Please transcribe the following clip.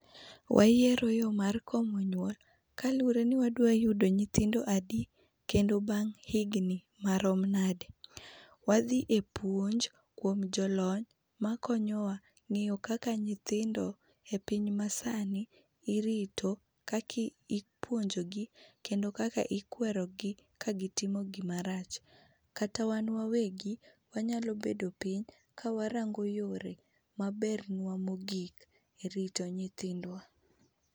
Wayiero yo mar komo nyuolo kalure ni wadwa yudo nyithindo adi kendo bang' higni marom nabde. Wadhi e puonj kuom jolony makonyowa ng'iyo kaka nyithindo e piny masani irito kakipuonjogi kendo kaka ikwerogi kagitmo gima rach. Kata wan wawegi wanyalo bedo piny kawarango yore mabernwa mogik e rito nyithidwa.